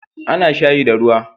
A na shayi da ruwa